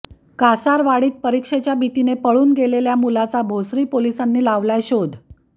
कासारवाडीत परिक्षेच्या भीतीने पळून गेलेल्या मुलाचा भोसरी पोलिसांनी लावला शोध